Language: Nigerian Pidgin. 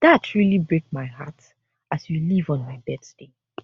dat really break my heart as you leave on my birthday